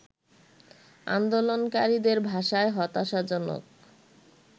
আন্দোলনকারীদের ভাষায় হতাশাজনক